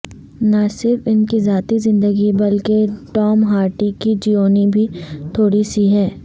نہ صرف ان کی ذاتی زندگی بلکہ ٹام ہارڈی کی جیونی بھی تھوڑی سی ہے